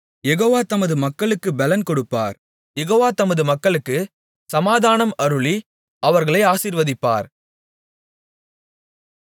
யெகோவா தமது மக்களுக்குப் பெலன் கொடுப்பார் யெகோவா தமது மக்களுக்குச் சமாதானம் அருளி அவர்களை ஆசீர்வதிப்பார்